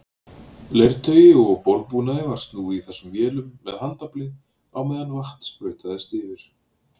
Leirtaui og borðbúnaði var snúið í þessum vélum með handafli á meðan vatn sprautaðist yfir.